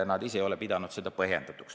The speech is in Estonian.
Nad ise ei ole pidanud seda muudatust põhjendatuks.